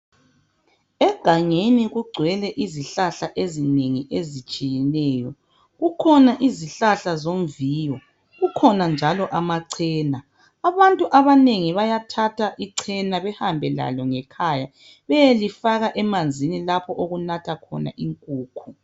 Egangeni kugcwele izihlahla ezinengi ezitshiyeneyo. Kukhona izihlahla zomviyo. Kukhona njalo amachena. Abantu abanengi bayathatha ichena behambe lalo ngekhaya beyelifaka emanzini lapho okunatha khona inkukhu